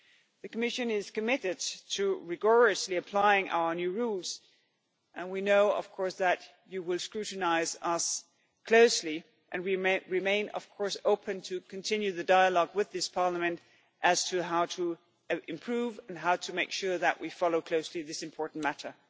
The Commission is committed to rigorously applying our new rules and we know of course that you will scrutinise us closely and we remain of course open to continuing the dialogue with this Parliament as to how to improve and how to make sure that we follow closely this important matter.